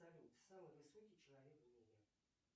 салют самый высокий человек в мире